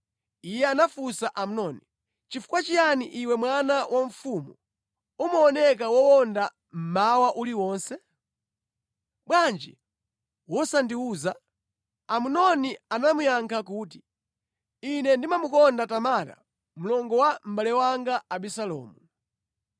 Iye anafunsa Amnoni, “Nʼchifukwa chiyani iwe mwana wa mfumu, umaoneka wowonda mmawa uliwonse? Bwanji wosandiwuza?” Amnoni anamuyankha kuti, “Ine ndamukonda Tamara, mlongo wa mʼbale wanga Abisalomu.”